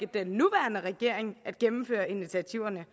den nuværende regering at gennemføre initiativerne